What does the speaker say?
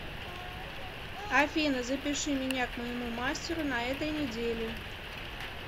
афина запиши меня к моему мастеру на этой неделе